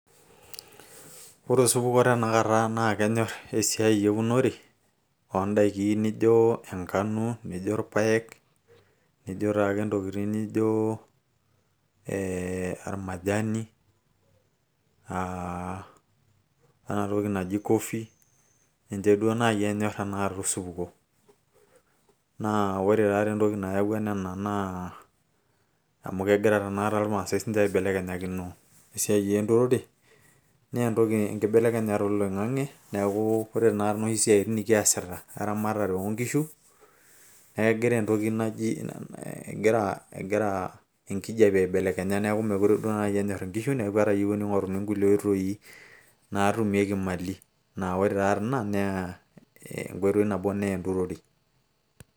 ore osupuko tenakata naa kenyorr esiai eunore oondaiki nijo enkano nijo irpayek nijo taake intokitin nijo ee ormajani aa enatoki naji coffee ninche duo naaji enyorr tenakata osupuko naa ore taate entoki nayawua nena naa amu kegira tenakata irmaasay siinche aibelekenyakino esiai enturore naa entoki enkibelekenyata oloing'ang'e neeku ore tenakata inoshi siatin nikiasita eramatare oonkishu negira entoki naji egira enkijape aibelekenya neeku meekure duo naaji enyorr inkishu neeku etayiewua ning'oruni inkulie oitoi naatumieki imali naa ore taatii ina naa enkoitoi nabo naa enturore.